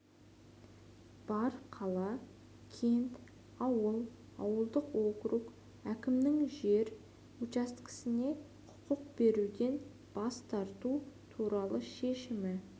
бар қала кент ауыл ауылдық округ әкімінің жер учаскесіне құқық беруден бас тарту туралы шешімі